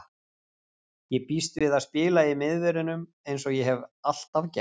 Ég býst við að spila í miðverðinum eins og ég hef alltaf gert.